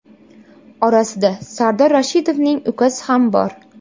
Orasida Sardor Rashidovning ukasi ham bor.